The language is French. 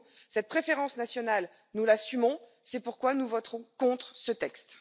Cette préférence nationale, nous l'assumons, c'est pourquoi nous voterons contre ce texte.